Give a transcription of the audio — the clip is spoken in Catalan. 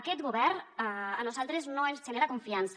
aquest govern a nosaltres no ens genera confiança